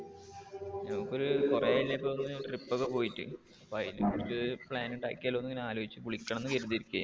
നമുക്ക് ഒരു കുറേ ആയില്ലേ ഇപ്പൊ ഒരു trip ഒക്കെ പോയിട്ട്, അപ്പൊ അതിനു വേണ്ടിട്ട് plan ഉണ്ടാക്കിയാലോ എന്ന് ഇങ്ങനെ ആലോചിച്ചു. അപ്പൊ വിളിക്കണം എന്ന് കരുതി ഇരികേർന്നു.